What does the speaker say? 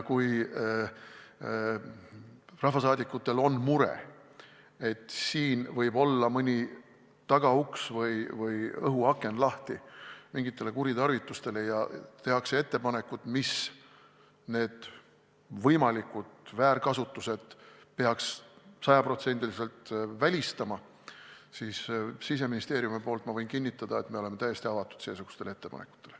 Kui rahvasaadikutel on mure, et siin võib olla mõni tagauks või õhuaken lahti mingitele kuritarvitustele, ja tehakse ettepanekud, mis peaks need võimalikud väärkasutused sajaprotsendiliselt välistama, siis ma võin Siseministeeriumi nimel kinnitada, et me oleme täiesti avatud seesugustele ettepanekutele.